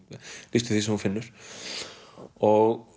lýstu því sem þú finnur og